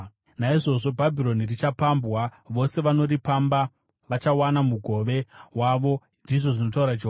Naizvozvo Bhabhironi richapambwa; vose vanoripamba vachawana mugove wavo,” ndizvo zvinotaura Jehovha.